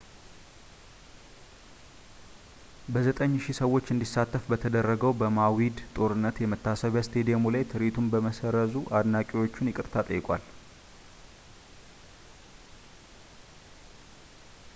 በ9,000 ሰዎች እንዲሳተፍ በተደረገው በማዊድ ጦርነት የመታሰቢያ ስታዲየሙ ላይ ትርዒቱን በመሰረዙ አድናቂዎቹን ይቅርታ ጠይቋል